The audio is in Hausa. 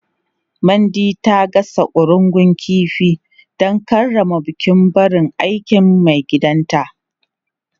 Mandy ta gasa ƙurungun kifi don karrama bukin barin aikin maigidanta.